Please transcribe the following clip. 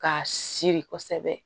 Ka siri kosɛbɛ